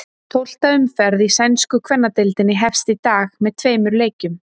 Tólfta umferð í sænsku kvennadeildinni hefst í dag með tveimur leikjum.